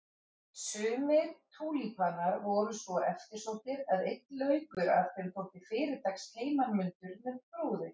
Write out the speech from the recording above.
Sumir túlípanar voru svo eftirsóttir að einn laukur af þeim þótti fyrirtaks heimanmundur með brúði.